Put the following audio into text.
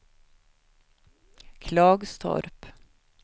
Klagstorp